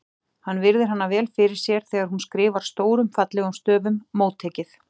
Hann virðir hana vel fyrir sér þegar hún skrifar stórum fallegum stöfum: Móttekið